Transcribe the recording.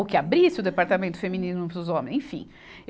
ou que abrisse o Departamento Feminino para os Homens, enfim.